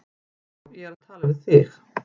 Já, ég er að tala við þig!